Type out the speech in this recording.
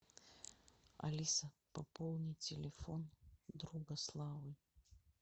алиса пополни телефон друга славы